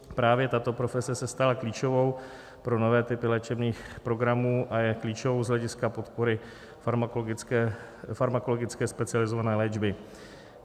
Právě tato profese se stala klíčovou pro nové typy léčebných programů a je klíčovou z hlediska podpory farmakologické specializované léčby.